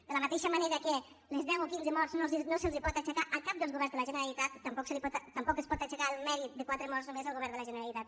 de la mateixa manera que les deu o quinze morts no es poden atribuir a cap dels governs de la generalitat tampoc es pot atribuir el mèrit de quatre morts només al govern de la generalitat